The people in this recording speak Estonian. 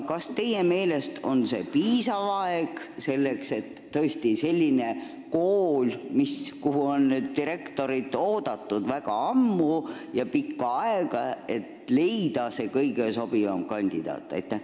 Kas teie meelest on see tõesti piisav aeg selleks, et leida sellisesse kooli, kuhu on direktorit oodatud väga pikka aega, kõige sobivam kandidaat?